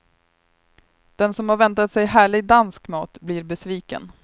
Den som har väntat sig härlig dansk mat blir besviken.